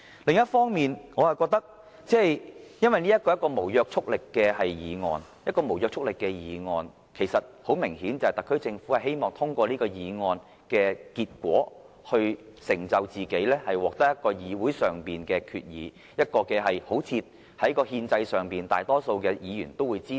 另一方面，由於這項議案並無約束力，而特區政府提出這項無約束力議案的原因，很明顯是希望通過議案的結果來成就自己，以期獲得議會通過議案，從而予人一種感覺，令政府在憲制上好像得到大多數議員支持。